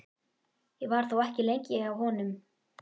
Ég var þó ekki lengi hjá honum.